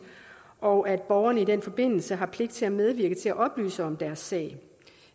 og at borgerne i den forbindelse har pligt til at medvirke til at oplyse om deres sag